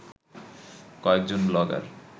কয়েকজন ব্লগার